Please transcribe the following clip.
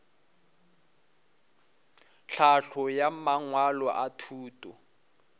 tlhahlo ya mangwalo a thuto